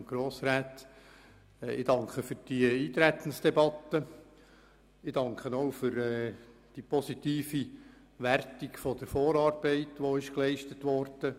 Ich danke für diese Eintretensdebatte und auch für die positive Wertung der Vorarbeit, die geleistet wurde.